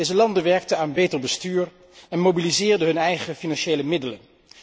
Deze landen werkten aan een beter bestuur en mobiliseerden hun eigen financiële middelen.